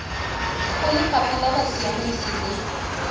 go lefapha la bosiamisi le